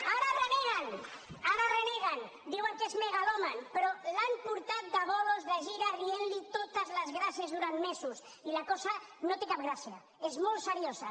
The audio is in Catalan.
ara en reneguen ara en reneguen diuen que és megalòman però l’han porta de bolos de gira rient li totes les gràcies durant mesos i la cosa no té cap gràcia és molt seriosa